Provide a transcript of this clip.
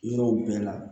Yɔrɔw bɛɛ la